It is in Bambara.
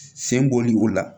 Sen bɔli o la